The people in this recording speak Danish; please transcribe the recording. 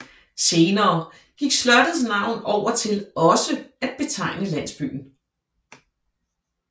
Senere gik slottets navn over til også at betegne landsbyen